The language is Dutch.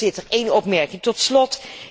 Voorzitter, één opmerking tot slot.